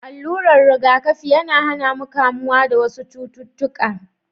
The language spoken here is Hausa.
Alurar riga kafi yAna hAna mu kamuwa da wasu cututtuƙa